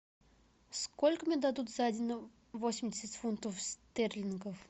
сколько мне дадут за один восемьдесят фунтов стерлингов